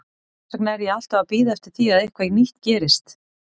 Þess vegna er ég alltaf að bíða eftir því að eitthvað nýtt gerist.